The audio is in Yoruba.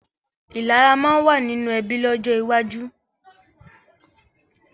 Ìlara máa ma wà nínú ẹbí lọ́jọ́ iwájú